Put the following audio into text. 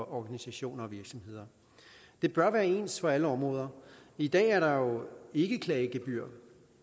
organisationer og virksomheder det bør være ens for alle områder i dag er der jo ikke klagegebyr